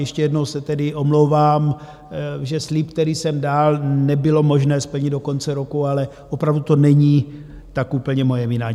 Ještě jednou se tedy omlouvám, že slib, který jsem dal, nebylo možné splnit do konce roku, ale opravdu to není tak úplně moje vina.